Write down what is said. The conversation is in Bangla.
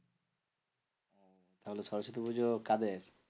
তাহলে সরস্বতী পুজো কাদের?